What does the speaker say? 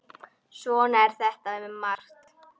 Svona er þetta með margt.